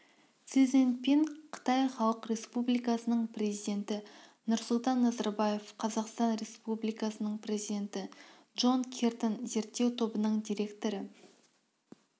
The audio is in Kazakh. си цзиньпин қытай халық республикасының президенті нұрсұлтан назарбаев қазақстан республикасының президенті джон киртон зерттеу тобының директоры